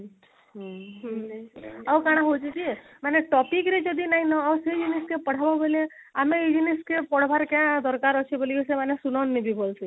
ହୁଁ ଆଉ କଣ ହଉଛି କି ମାନେ topic ରେ ଯଦି ନାଇ ନ ଆସୁଛେ ଜିନିଷ କେ ପଢାବେ ବୋଲେ ଆମେ ଏଇ ଜିନିଷକେ ପଢବାରେ କେ ଦରକାର ଅଛେ କି ବୋଲକରି ସେମାନେ